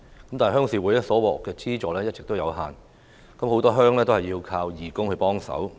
可是，鄉事會獲得的資助一直有限，很多鄉也要靠義工幫忙。